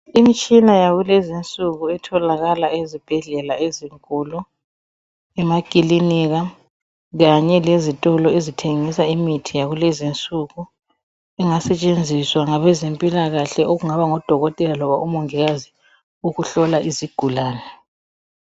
Imitshina yakulezinsuku etholakala ezibhedlela ezinkulu, emakilinika kanye lezitolo ezithengisa imithi yakulezinsuku ingasetshenziswa ngabe zempilakahle okungaba ngodokotela loba omongikazi ukuhlola izigulane.